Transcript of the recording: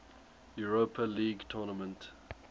europa league tournament